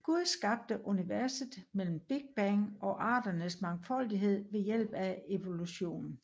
Gud skabte universet gennem Big Bang og arternes mangfoldighed ved hjælp af evolution